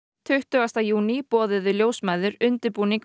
tuttugasta júní boðuðu ljósmæður undirbúning